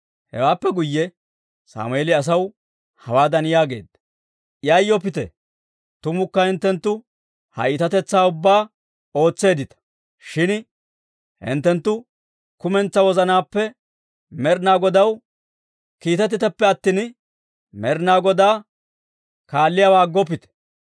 Hewaappe guyye Sammeeli asaw hawaadan yaageedda; «Yayyoppite; tumukka hinttenttu ha iitatetsaa ubbaa ootseeddita; shin hinttenttu kumentsaa wozanaappe Med'inaa Godaw kiitettiteppe attina, Med'inaa Godaa kaalliyaawaa aggoppite.